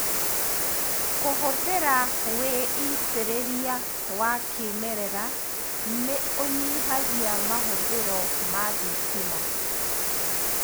Kũhũthĩra wĩitĩrĩria wa kĩmerera nĩũnyihagia mahũthĩro ma thitima.